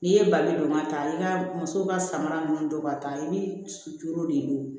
N'i ye bali don ka taa i ka muso ka samara ninnu don ka taa i ni suturunin de don